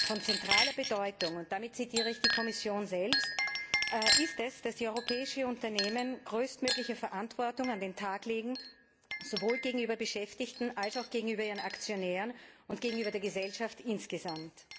Von zentraler Bedeutung und damit zitiere ich die Kommission selbst ist es, dass die europäischen Unternehmen größtmögliche Verantwortung an den Tag legen, sowohl gegenüber Beschäftigten als auch gegenüber ihren Aktionären und gegenüber der Gesellschaft insgesamt.